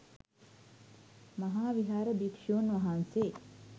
මහා විහාර භික්‍ෂූන් වහන්සේ